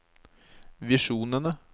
visjonene